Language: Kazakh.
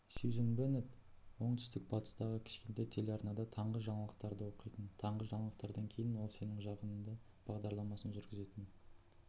сюзан беннет оңтүстік-батыстағы кішкентай телеарнада таңғы жаңалықтарды оқитын таңғы жаңалықтардан кейін ол сенің жағында бағдарламасын жүргізетін